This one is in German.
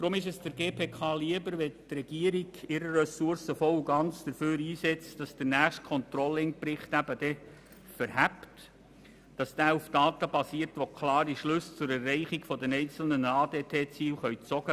Deshalb ist es der GPK lieber, wenn die Regierung ihre Ressourcen voll und ganz dafür einsetzt, dass der nächste Controlling-Bericht schlüssig ist und auf Daten basiert, die klare Schlussfolgerungen betreffend die Erreichung der einzelnen ADT-Ziele ermöglichen.